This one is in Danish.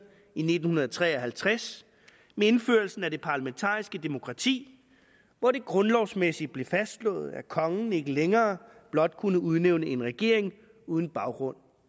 i nitten tre og halvtreds med indførelsen af det parlamentariske demokrati hvor det grundlovsmæssigt blev fastslået at kongen ikke længere blot kunne udnævne en regering uden baggrund